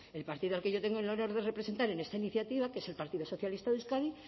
el partido al que yo tengo el honor de representar en esta iniciativa que es el partido socialista de euskadi